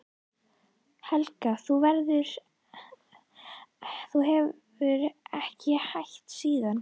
Helga: Og þú hefur ekki hætt síðan?